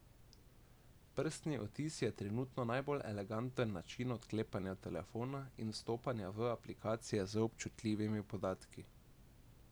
Prstni odtis je trenutno najbolj eleganten način odklepanja telefona in vstopanja v aplikacije z občutljivimi podatki.